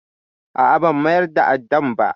A'a, ban mayar da addan ba.